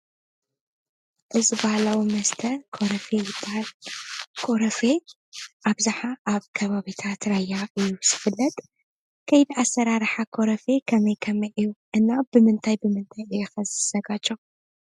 እዚ ባህላዊ መስተ ኮረፌ ይበሃል። ኮረፌ ኣብዝሓ ኣብ ከባቢታት ራያ እዩ ዝፍለጥ። ከይዲ ኣሰራርሓ ኮረፌ ከመይ ከመይ እዩ? እና ብምንታይ ብምንታይ እዩ ኸ ዝዘጋጆ?